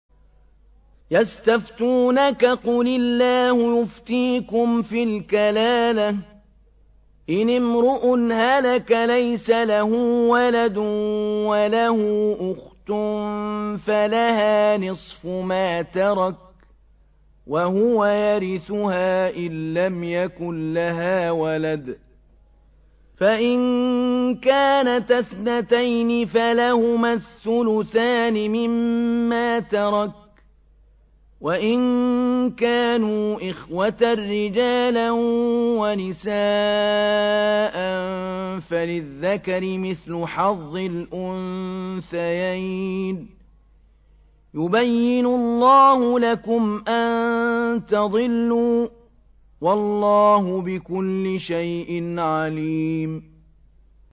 يَسْتَفْتُونَكَ قُلِ اللَّهُ يُفْتِيكُمْ فِي الْكَلَالَةِ ۚ إِنِ امْرُؤٌ هَلَكَ لَيْسَ لَهُ وَلَدٌ وَلَهُ أُخْتٌ فَلَهَا نِصْفُ مَا تَرَكَ ۚ وَهُوَ يَرِثُهَا إِن لَّمْ يَكُن لَّهَا وَلَدٌ ۚ فَإِن كَانَتَا اثْنَتَيْنِ فَلَهُمَا الثُّلُثَانِ مِمَّا تَرَكَ ۚ وَإِن كَانُوا إِخْوَةً رِّجَالًا وَنِسَاءً فَلِلذَّكَرِ مِثْلُ حَظِّ الْأُنثَيَيْنِ ۗ يُبَيِّنُ اللَّهُ لَكُمْ أَن تَضِلُّوا ۗ وَاللَّهُ بِكُلِّ شَيْءٍ عَلِيمٌ